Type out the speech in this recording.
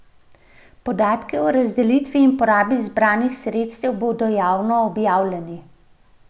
Podatki o razdelitvi in porabi zbranih sredstev bodo javno objavljeni.